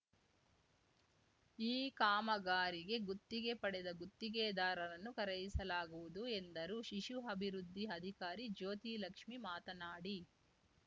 ಈ ಕಾಮಗಾರಿಗೆ ಗುತ್ತಿಗೆ ಪಡೆದ ಗುತ್ತಿಗೆದಾರರನ್ನು ಕರೆಯಿಸಲಾಗುವುದು ಎಂದರು ಶಿಶು ಅಭಿವೃದ್ಧಿ ಅಧಿಕಾರಿ ಜ್ಯೋತಿ ಲಕ್ಷ್ಮೀ ಮಾತನಾಡಿ